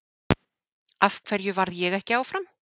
Af hverju varð ég ekki áfram?